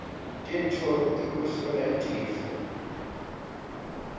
tintfo tekuhlola tifo